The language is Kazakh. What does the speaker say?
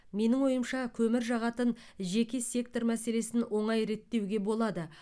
менің ойымша көмір жағатын жеке сектор мәселесін оңай реттеуге болады